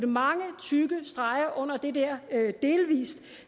mange tykke streger under det der delvis